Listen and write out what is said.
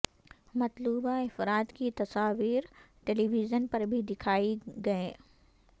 مطلوبہ افراد کی تصاویر ٹیلیویژن پر بھی دکھائی گئیں